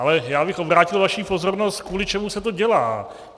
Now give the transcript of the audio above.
Ale já bych obrátil vaši pozornost, kvůli čemu se to dělá.